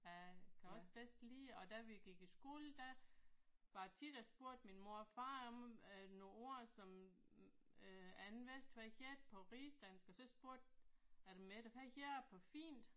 Jeg kan også bedst lide og da vi gik i skole der var det tit jeg spurgte min mor og far om øh nogle ord som øh jeg ikke vidste hvad hed på rigsdansk og så spurgte jeg dem efter hvad hedder det på fint